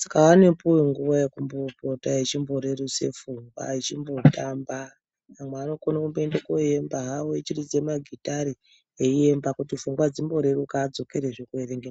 saka anopiwe nguva yekumbopota echimborerutse pfungwa echimbo tamba amwe anokone kumboende koemba hawo echiridze magitare eimba kuti pfungwa dzimboreruka adzokore zvee kooverenga.